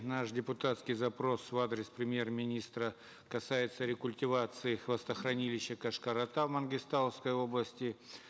наш депутатский запрос в адрес премьер министра касается рекультивации хвостохранилища кошкар ата в мангистауской области